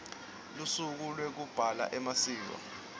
lusuku lwekugabha emasiko